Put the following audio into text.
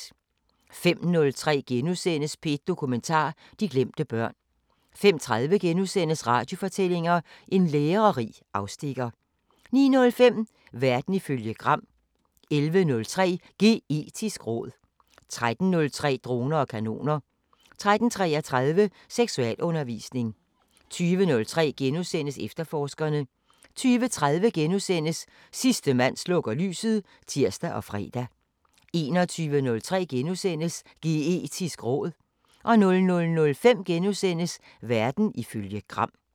05:03: P1 Dokumentar: De glemte børn * 05:30: Radiofortællinger: En lærerig afstikker * 09:05: Verden ifølge Gram 11:03: Geetisk råd 13:03: Droner og kanoner 13:33: Seksualundervisning 20:03: Efterforskerne * 20:30: Sidste mand slukker lyset *(tir og fre) 21:03: Geetisk råd * 00:05: Verden ifølge Gram *